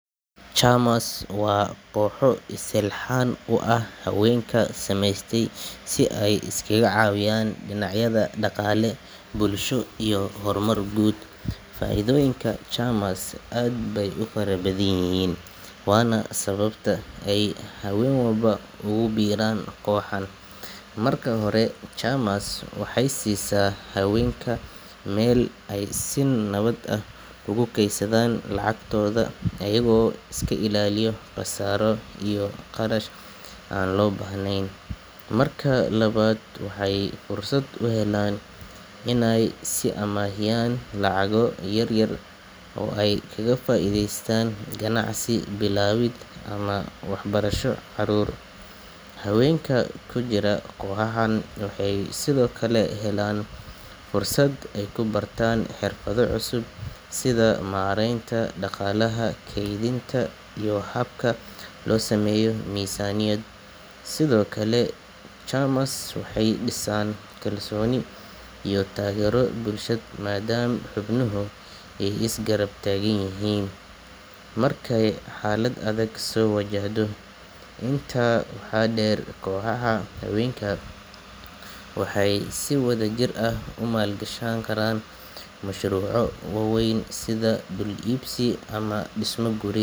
Chamas wuxuu silxan u ah hawenka sameste si ee iskaga cawiyan nocyaada daqale bbulsho iyo hormar guud, faidoyiinka chamas aadbayey ufara badan yihin wana sawabta ee hawen walbo ugu biran koxo marka hore chamas waxee sisa iyaga oo iska ilaliyo qasaro, hawenka kujiran waxee helan xirfaad iyo kalsoni bulshaad, waxee si wadha jir ah ku mal gashan mashruco wawen sitha.